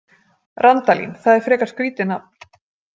Randalín, það er frekar skrítið nafn.